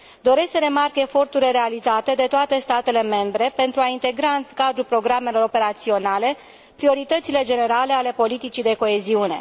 Doresc să remarc eforturile realizate de toate statele membre pentru a integra în cadrul programelor operaționale prioritățile generale ale politicii de coeziune.